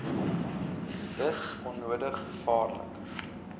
dis onnodig gevaarlik